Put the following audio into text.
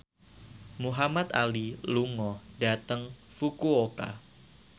Muhamad Ali lunga dhateng Fukuoka